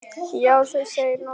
Já, þú segir nokkuð.